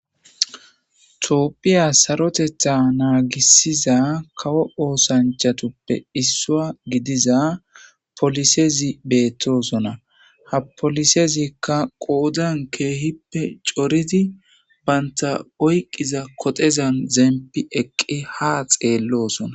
toopphiya sarotetha naagisiza kawo oosanchatoppe issua gidiza polisezi beettosona ha polisezikka qoodan keehippe coridi baynta oyqiza kodezan zempi eqqi ha xeellosona